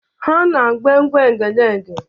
Ha na-agba egwu Egedege.